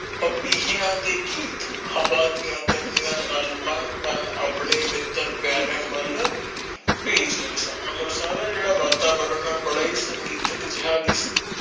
ਪੇਪਿਯਾ ਦੇ ਗੀਤ ਹਵਾ ਦੀਆ ਕਨੀਆਂ ਨਾਲ ਬਨ ਬਨ ਅਪਣੇ ਮਿੱਤਰ ਪਯਾਰੇ ਵਲ ਭੇਜ ਰਹੇ ਸਨ ਮਤਲਬ ਸਾਰਾ ਜੇੜਾ ਵਾਤਾਵਰਣ ਬੜਾ ਹੀ ਸੰਗਿਤਕ ਜਿਹਾ ਵੀ ਸੀ